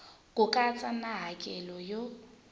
ku katsa na hakelo yo